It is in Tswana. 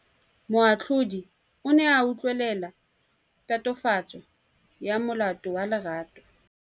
Moatlhodi o ne a utlwelela tatofatsô ya molato wa Lerato.